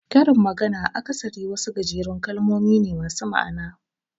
Karin magana akasari wasu gajerun kalmomi ne masu ma'ana.